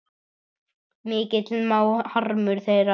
Mikill má harmur þeirra vera.